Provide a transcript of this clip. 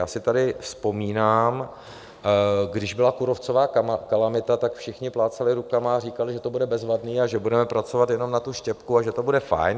Já si tady vzpomínám, když byla kůrovcová kalamita, tak všichni plácali rukama a říkali, že to bude bezvadné a že budeme pracovat jenom na tu štěpku a že to bude fajn.